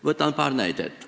Võtan paar näidet.